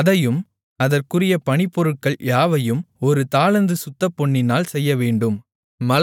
அதையும் அதற்குரிய பணிப்பொருட்கள் யாவையும் ஒரு தாலந்து சுத்தப்பொன்னினால் செய்யவேண்டும்